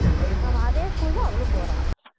அவ அதே school தான் அவளும் போறா